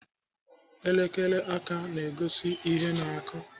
Elekere aka na-egosi ihe na-akụ.